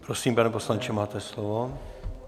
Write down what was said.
Prosím, pane poslanče, máte slovo.